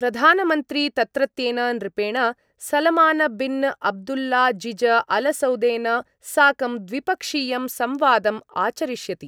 प्रधानमंत्री तत्रत्येन नृपेण सलमानबिन्अब्दुल्लाज़िजअलसउदेन साकं द्विपक्षीयं संवादम् आचरिष्यति।